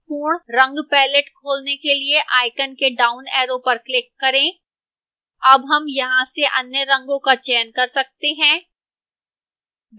पूर्ण रंग palette खोलने के लिए icon के downarrow पर click करें